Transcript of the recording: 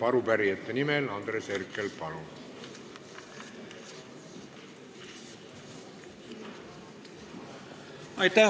Arupärijate nimel Andres Herkel, palun!